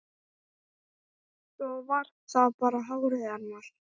Svo var það hárið hennar.